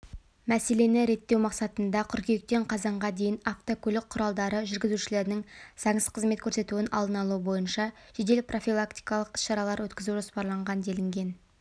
мәселені реттеу мақсатында қыркүйектен қазанға дейін автокөлік құралдары жүргізушілерінің заңсыз қызмет көрсетуін алдын-алу бойынша жедел профилактикалық іс-шаралар өткізу жоспарланған делінген